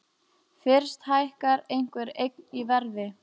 Fyrst hækkar einhver eign í verði.